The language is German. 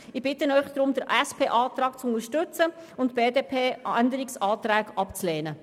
Ich bitte Sie deshalb, den SP-JUSO-PSA-Antrag zu unterstützen und die BDP-Änderungsanträge abzulehnen.